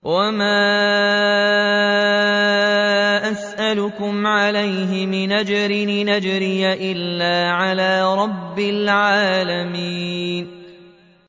وَمَا أَسْأَلُكُمْ عَلَيْهِ مِنْ أَجْرٍ ۖ إِنْ أَجْرِيَ إِلَّا عَلَىٰ رَبِّ الْعَالَمِينَ